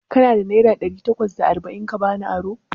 Kana da naira ɗari takwas da arba'in ka bani aro?